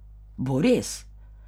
Bo res?